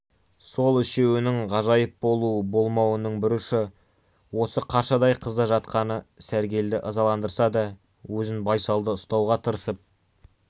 сол үшеуінің ғайып болу болмауының бір ұшы осы қаршадай қызда жатқаны сәргелді ызаландырса да өзін байсалды ұстауға тырысып